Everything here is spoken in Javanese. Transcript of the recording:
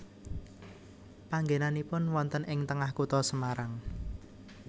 Panggenanipun wonten ing tengah kutha Semarang